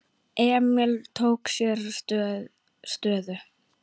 Emil tók sér stöðu.